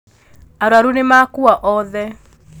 Arwaru nĩmakua othe.